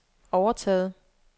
overtaget